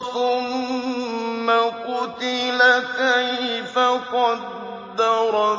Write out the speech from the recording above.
ثُمَّ قُتِلَ كَيْفَ قَدَّرَ